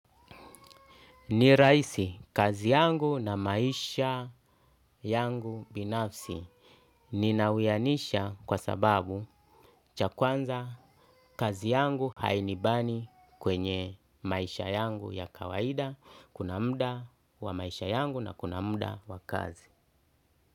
Ni rahisi, kazi yangu na maisha yangu binafsi ninawianisha kwa sababu cha kwanza kazi yangu hainibani kwenye maisha yangu ya kawaida, kuna muda wa maisha yangu na kuna muda wa kazi.